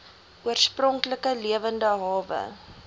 oorspronklike lewende hawe